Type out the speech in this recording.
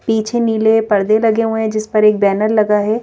पीछे नीले पर्दे लगे हुए हैं जिस पर एक बैनर लगा है।